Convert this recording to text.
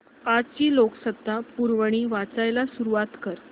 आजची लोकसत्ता पुरवणी वाचायला सुरुवात कर